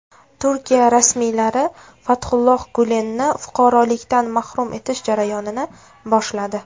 Turkiya rasmiylari Fathulloh Gulenni fuqarolikdan mahrum etish jarayonini boshladi.